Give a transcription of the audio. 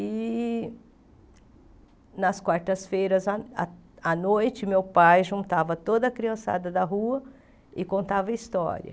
E, nas quartas-feiras, à à à noite, meu pai juntava toda a criançada da rua e contava a história.